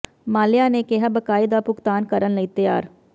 ਮਾਲਿਆ ਨੇ ਕਿਹਾ ਬਕਾਏ ਦਾ ਭੁਗਤਾਨ ਕਰਨ ਲਈ ਤਿਆਰ